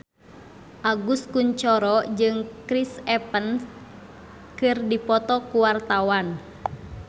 Agus Kuncoro jeung Chris Evans keur dipoto ku wartawan